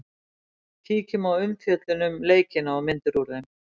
Kíkjum á umfjöllun um leikina og myndir úr þeim